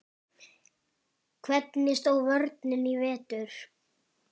Hvernig stóð vörnin í vetur?